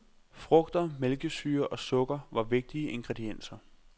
Frugter, mælkesyre og sukker var vigtige ingredienser.